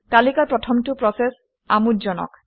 তালিকাৰ প্ৰথমটো প্ৰচেচ আমোদজনক